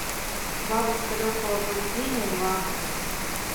бабушка легкого поведения два